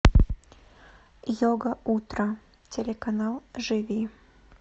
йога утро телеканал живи